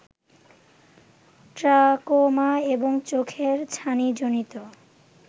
trachoma এবং চোখের ছানিজনিত